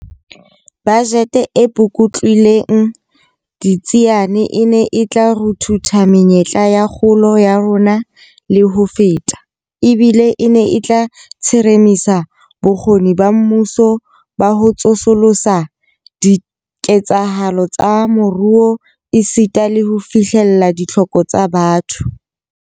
Bajete e pukutlilweng ditsiane e ne e tla ruthutha menyetla ya kgolo ya rona le ho feta, ebile e ne e tla tsheremisa bokgoni ba mmuso ba ho tsosolosa diketsahalo tsa moruo esita le ho fihlella ditlhoko tsa batho.